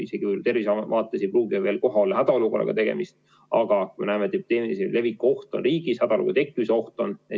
Isegi tervishoiu vaates ei pruugi veel olla tegu hädaolukorraga, aga me näeme, et epideemilise leviku oht on riigis väga suur ja ka hädaolukorra tekkimise oht.